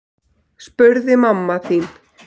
spurði mamma þín.